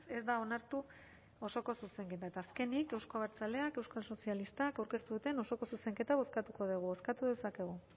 ez da onartu osoko zuzenketa eta azkenik euzko abertzaleak euskal sozialistak aurkeztu duten osoko zuzenketa bozkatuko dugu bozkatu dezakegu